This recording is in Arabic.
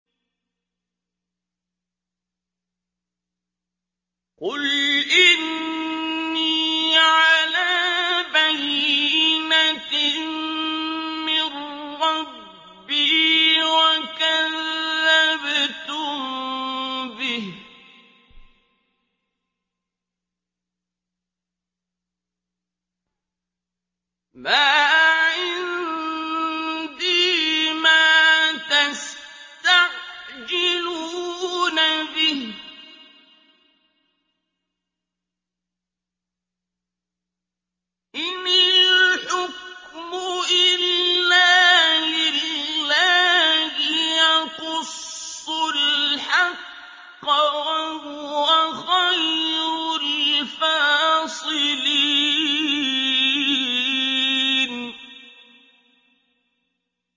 قُلْ إِنِّي عَلَىٰ بَيِّنَةٍ مِّن رَّبِّي وَكَذَّبْتُم بِهِ ۚ مَا عِندِي مَا تَسْتَعْجِلُونَ بِهِ ۚ إِنِ الْحُكْمُ إِلَّا لِلَّهِ ۖ يَقُصُّ الْحَقَّ ۖ وَهُوَ خَيْرُ الْفَاصِلِينَ